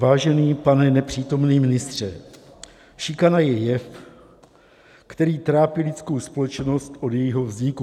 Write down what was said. Vážený pane nepřítomný ministře, šikana je jev, který trápí lidskou společnost od jejího vzniku.